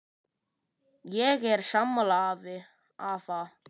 Ég er sammála afa.